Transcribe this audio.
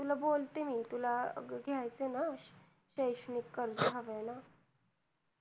मी तुला बोलते मी तुला घ्यायचं आहे ना शैक्षणिक कर्ज हवं आहे ना